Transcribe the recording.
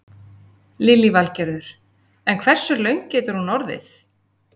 Lillý Valgerður: En hversu löng getur hún orðið?